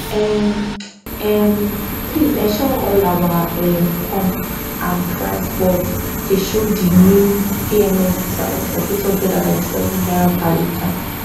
um um please ensure say all your um pumps and price boards dey show di new pms price of n897 per liter